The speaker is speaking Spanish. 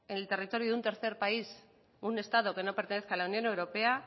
en el territorio de un tercer país estado que no pertenezca a la unión europea